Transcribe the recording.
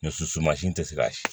Muso sumansi tɛ se ka ye